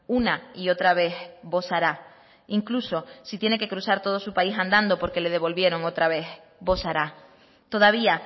una y otra vez bosará incluso si tiene que cruzar todo su país andando porque le devolvieron otra vez bosará todavía